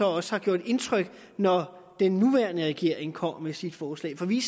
også har gjort indtryk når den nuværende regering kommer med sit forslag for vi